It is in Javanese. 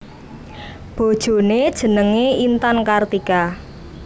Bojoné jenengé Intan Kartika